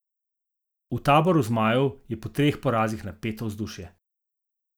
V taboru zmajev je po treh porazih napeto vzdušje.